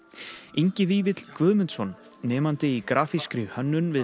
Ingi Vífill Guðmundsson nemandi í grafískri hönnun við